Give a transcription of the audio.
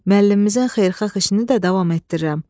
Müəllimimizin xeyirxah işini də davam etdirirəm.